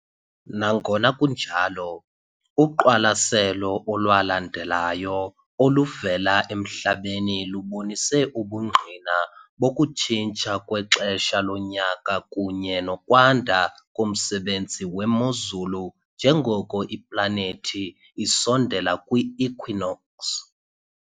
Nangona kunjalo, uqwalaselo olwalandelayo oluvela eMhlabeni lubonise ubungqina bokutshintsha kwexesha lonyaka kunye nokwanda komsebenzi wemozulu njengoko iplanethi isondela kwi- equinox .